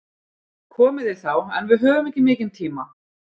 Komið þið þá, en við höfum ekki mikinn tíma.